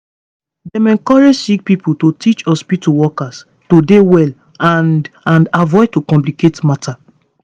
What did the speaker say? dem encourage sick pipo to teach hospitu workers to dey well and and avoid to complicate matter